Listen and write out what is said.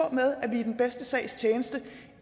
i den bedste sags tjeneste